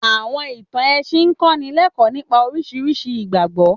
Àwọ̀n ìtàn ẹ̀sìn ń kọ́nílẹkọ́ọ̀ nipa oríṣiríṣi ìgbàgbọ́.